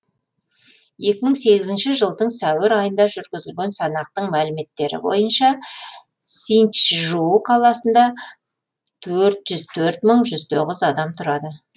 екі мың сегізінші жылдың сәуір айында жүргізілген санақтың мәліметтері бойынша синьчжу қаласында төрт жүз төрт мың жүз тоғыз адам тұрады